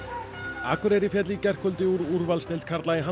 Akureyri féll í gærkvöldi úr úrvalsdeild karla